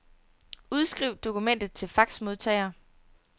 Udskriv dokumentet til faxmodtager.